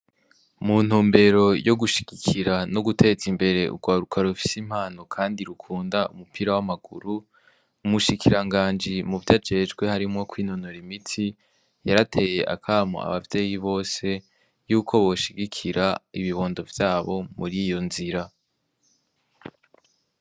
Mu ntumbero yo gushigikira no guteza imbere urwaruka rufise impano kandi rukunda umupira w'amaguru, umushikiranganje muvyajejwe harimwo kwinonora imitsi, yarateye akamo abavyeyi bose yuko boshigikira ibibondo vyabo muri iyo nzira.